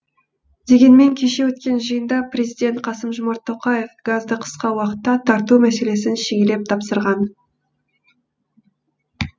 дегенмен кеше өткен жиында президент қасым жомарт тоқаев газды қысқа уақытта тарту мәселесін шегелеп тапсырған